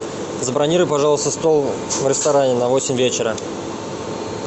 забронируй пожалуйста стол в ресторане на восемь вечера